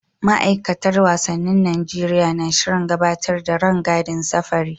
Ma'aikatar wasannin Najeriya na shirin gabatar da rangadin safari.